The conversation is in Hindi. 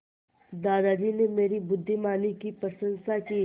दादाजी ने मेरी बुद्धिमानी की प्रशंसा की